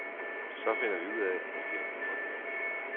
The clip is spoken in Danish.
Så finder vi ud af, at vi har brug for hinanden.